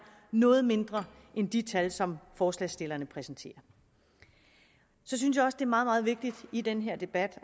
noget mindre end de tal som forslagsstillerne præsenterer jeg synes også det meget meget vigtigt i den her debat